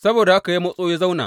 Saboda haka ya ratso ya zauna.